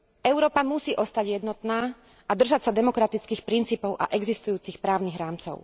Európa musí ostať jednotná a držať sa demokratických princípov a existujúcich právnych rámcov.